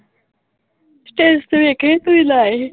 status ਵੇਖੇ ਸੀ ਤੁਸੀਂ ਲਾਏ ਸੀ।